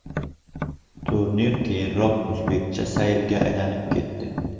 Turnir keyinroq o‘zbekcha saylga aylanib etdi.